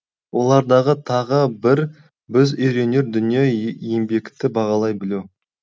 олардағы тағы бір біз үйренер дүние еңбекті бағалай білу